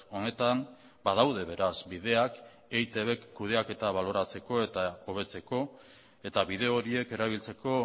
honetan badaude beraz bideak eitbk kudeaketa baloratzeko eta hobetzeko eta bide horiek erabiltzeko